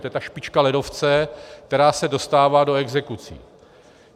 To je ta špička ledovce, která se dostává do exekucí.